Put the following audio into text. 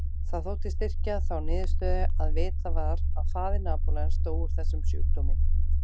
Það þótti styrkja þá niðurstöðu að vitað var að faðir Napóleons dó úr þessum sjúkdómi.